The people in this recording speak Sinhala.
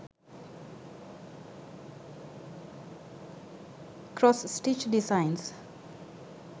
cross stitch designs